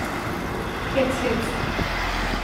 Hec, hec!